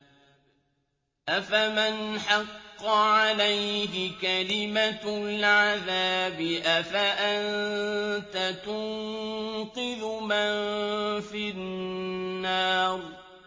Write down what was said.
أَفَمَنْ حَقَّ عَلَيْهِ كَلِمَةُ الْعَذَابِ أَفَأَنتَ تُنقِذُ مَن فِي النَّارِ